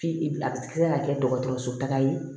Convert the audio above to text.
F'i bi a kila ka kɛ dɔgɔtɔrɔso taga ye